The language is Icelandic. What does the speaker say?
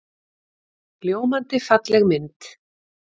Ljómandi falleg mynd.